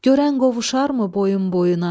Görən qovuşarmı boyun boyuna.